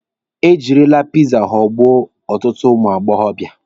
E jirila piza ghọgbuo ọtụtụ ụmụ agbọbịa.